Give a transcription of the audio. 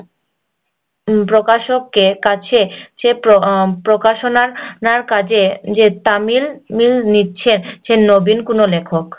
প্রকাশের কাছে প্রকাশনার কাজে যে তামিল নিচ্ছে নবীন কোনো লেখক